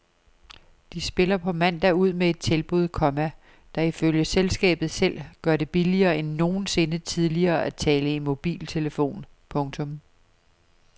De spiller på mandag ud med et tilbud, komma der ifølge selskabet selv gør det billigere end nogensinde tidligere at tale i mobiltelefon. punktum